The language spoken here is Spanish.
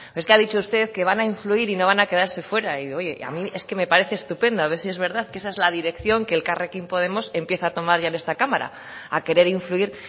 pero es que ha dicho usted que van a influir y no van a quedarse fuera y digo oye es que a mí es que me parece estupendo a ver si es verdad que esa es la dirección que elkarrekin podemos empieza a tomar ya en esta cámara a querer influir